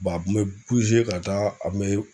a kun be ka taa a kun be